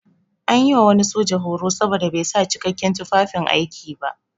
An yi wa wani soja horo saboda bai sa jikakken tufafin aiki ba.